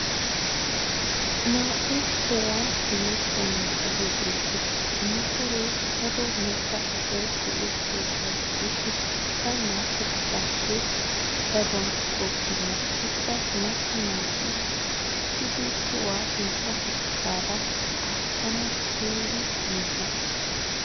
Naa'u tohuwan hemettiya motoree beettes. Ha motoree daro macca asay go'ettiyoogaa gidishin ikka naa'u asaappe daruwan tookkenna ikka macca naati uttiiddi tohuwa sintta baggaara aattanawu keehin injje.